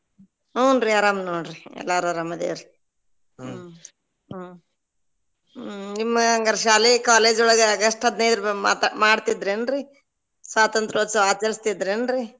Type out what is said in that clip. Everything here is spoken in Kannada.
ಹುಂ ರೀ ಆರಾಮ್ ನೋಡ್ರಿ ಎಲ್ಲಾರು ಆರಾಮ್ ಅದರೀ ಹ್ಮ್‌ ಹ್ಮ್‌ ನಿಮ್ಮ ಹಂಗಾರ ಶಾಲೆ college ಒಳಗ August ಹದಿನೈದ ಮಾತಾ~ ಮಾಡ್ತಿದ್ರಿ ಏನ್ರೀ? ಸ್ವಾತಂತ್ರ್ಯೋತ್ಸವ ಆಚರಿಸ್ತಿದೇನ್ರಿ?